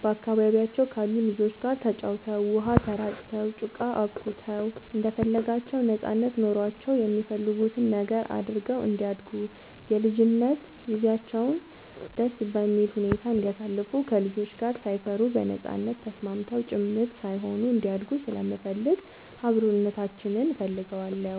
በአካባቢያቸው ካሉ ልጆች ጋር ተጫውተው, ውሃ ተራጭተው, ጭቃ አቡክተው እንደፈለጋቸው ነጻነት ኖሯቸው የሚፈልጉትን ነገር አድርገው እንዲያድጉ የልጅነት ጊዜያቸውን ደስ በሚል ሁኔታ እንዲያሳልፉ ከልጆች ጋር ሳይፈሩ በነጻነት ተስማምተው ጭምት ሳይሆኑ እንዲያድጉ ስለምፈልግ አብሮነታችንን እፈልገዋለሁ።